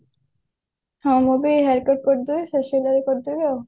ହଁ ମୁଁ ବି haircut କରିଦେବି facial କରିଦେବି ଆଉ